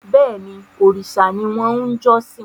Bẹ́ẹ̀ni, òrìṣà ni wọ́n ń jọ́sìn